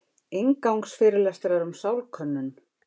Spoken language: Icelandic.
Inngangsfyrirlestrar um sálkönnun.